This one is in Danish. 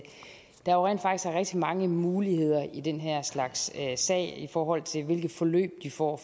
rigtig mange muligheder i den her slags sager i forhold til hvilke forløb de får